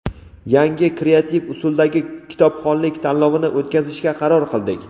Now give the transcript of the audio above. yangi kreativ usuldagi kitobxonlik tanlovini o‘tkazishga qaror qildik.